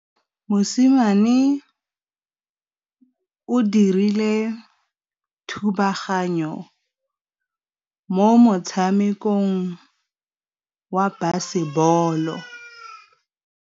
Mosimane o dirile thubaganyô mo motshamekong wa basebôlô.